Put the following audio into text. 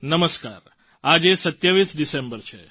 નમસ્કાર આજે 27 ડિસેમ્બર છે